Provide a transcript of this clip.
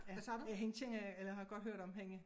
Ja ja hende kende eller har godt hørt om hende